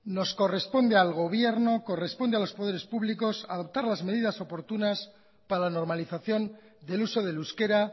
nos corresponde al gobierno corresponde a los poderes públicos adoptar las medidas oportunas para la normalización del uso del euskera